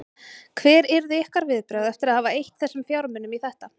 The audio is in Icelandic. Hver yrðu ykkar viðbrögð eftir að hafa eytt þessum fjármunum í þetta?